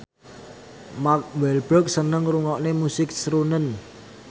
Mark Walberg seneng ngrungokne musik srunen